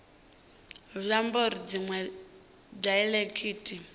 zwi ambi uri dziṅwe daiḽekithi